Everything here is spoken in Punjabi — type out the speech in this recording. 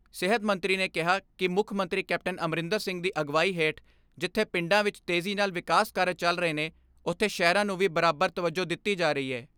ਸਿਹਤ ਮੰਤਰੀ ਨੇ ਕਿਹਾ ਕਿ ਮੁੱਖ ਮੰਤਰੀ ਕੈਪਟਨ ਅਮਰਿੰਦਰ ਸਿੰਘ ਦੀ ਅਗਵਾਈ ਹੇਠ ਜਿਥੇ ਪਿੰਡਾਂ ਵਿਚ ਤੇਜ਼ੀ ਨਾਲ ਵਿਕਾਸ ਕਾਰਜ ਚੱਲ ਰਹੇ ਨੇ, ਉਥੇ ਸ਼ਹਿਰਾਂ ਨੂੰ ਵੀ ਬਰਾਬਰ ਤਵੱਜੋ ਦਿਤੀ ਜਾ ਰਹੀ ਐ।